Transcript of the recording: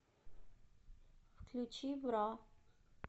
включи бра